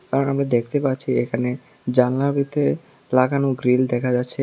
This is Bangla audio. আর আমি দেখতে পাচ্ছি এখানে জালনার ভিতরে লাগানো গ্রীল দেখা যাচ্ছে।